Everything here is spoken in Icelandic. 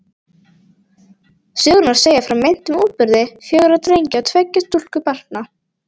Sögurnar segja frá meintum útburði fjögurra drengja og tveggja stúlkubarna.